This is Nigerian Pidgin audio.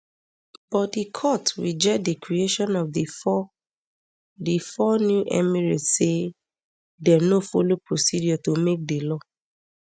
but di court reject di creation of di four di four new emirates say dem no follow procedure to make di law